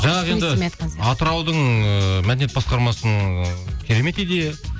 жаңағы енді атыраудың ыыы мәдениет басқармасының ы керемет идея